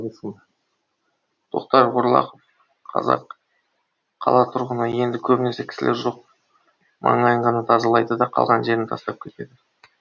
тоқтар орлақов қала тұрғыны енді көбінесе кісілер сол жақ маңайын ғана тазалайды да қалған жерін тастап кетеді